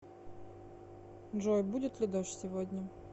джой будет ли дождь сегодня